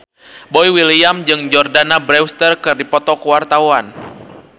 Boy William jeung Jordana Brewster keur dipoto ku wartawan